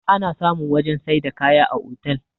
ana samun wajen sai da kaya a otal